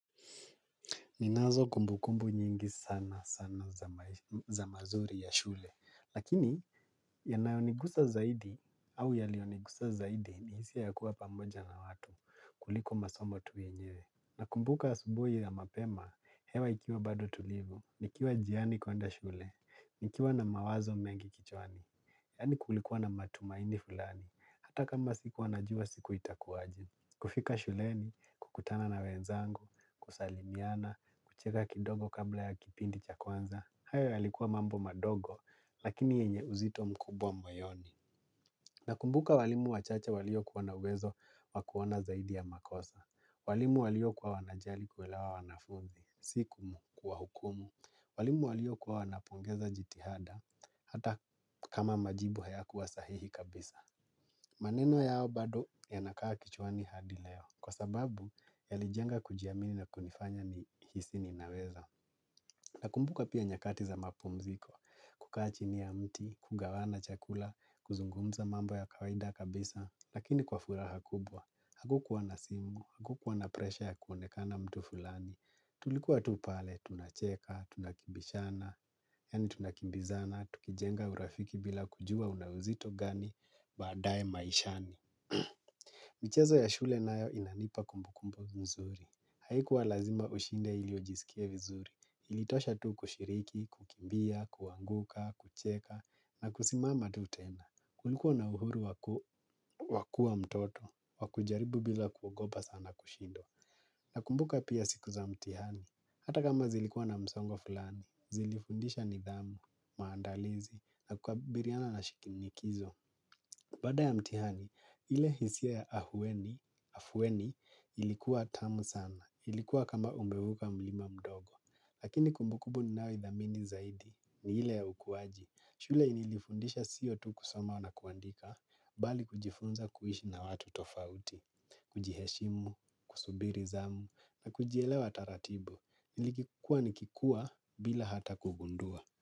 Ninazo kumbukumbu nyingi sana sana za mazuri ya shule, lakini yanayonigusa zaidi au yaliyonigusa zaidi ni hisia ya kuwa pamoja na watu kuliko masomo tu yenyewe. Nakumbuka asubuhi ya mapema, hewa ikiwa bado tulivu, nikiwa njiani kwenda shule, nikiwa na mawazo mengi kichwani, yaani kulikuwa na matumaini fulani, hata kama sikuwa najua siku itakuaje. Kufika shuleni, kukutana na wenzangu, kusalimiana, kucheka kidogo kabla ya kipindi cha kwanza. Hayo yalikuwa mambo madogo, lakini yenye uzito mkubwa moyoni. Nakumbuka walimu wachache waliokuwa na uwezo wa kuona zaidi ya makosa. Walimu waliokuwa wanajali kuelewa wanafunzi, si kuwahukumu. Walimu waliokuwa wanapongeza jitihada, hata kama majibu hayakuwa sahihi kabisa. Maneno yao bado yanakaa kichwani hadi leo kwa sababu yalijenga kujiamini na kunifanya nihisi ninaweza. Nakumbuka pia nyakati za mapumziko kukaa chini ya mti, kugawana chakula, kuzungumza mambo ya kawaida kabisa lakini kwa furaha kubwa, hakukuwa na simu, hakukuwa na presha ya kuonekana mtu fulani tulikuwa tu pale, tunacheka, tunakimbishana, yaani tunakimbizana, tukijenga urafiki bila kujua una uzito gani baadaye maishani. Michezo ya shule nayo inanipa kumbukumbu nzuri haikuwa lazima ushinde ili ujisikie vizuri ilitosha tu kushiriki, kukimbia, kuanguka, kucheka na kusimama tu tena kulikuwa na uhuru wa kuwa mtoto wa kujaribu bila kuogopa sana kushindwa. Nakumbuka pia siku za mtihani hata kama zilikuwa na msongo fulani zilifundisha nidhamu, maandalizi na kukabiliana na shinikizo. Baada ya mtihani, ile hisia ya afueni ilikuwa tamu sana, ilikuwa kama umevuka mlima mdogo, lakini kumbukumbu ninayoithamini zaidi ni ile ya ukuaji. Shule ilinifundisha siyo tu kusoma na kuandika, bali kujifunza kuishi na watu tofauti, kujiheshimu, kusubiri zamu, na kujielewa taratibu, nilikuwa nikikua bila hata kugundua.